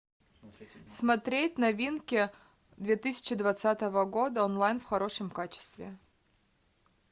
смотреть новинки две тысячи двадцатого года онлайн в хорошем качестве